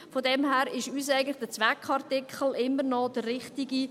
Von dem her ist für uns der Zweckartikel immer noch der richtige.